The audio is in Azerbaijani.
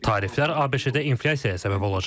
Tariflər ABŞ-də inflyasiyaya səbəb olacaq.